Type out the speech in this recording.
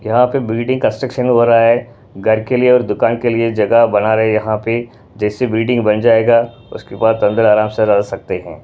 यहाँ पे building construction हो रहा है घर के लिए और दुकान के लिए जगह बना रहे हैं यहाँ पे जैसे बिल्डिंग बन जाएगा उसके बाद अंदर आराम से रह सकते हैं।